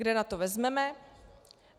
Kde na to vezmeme?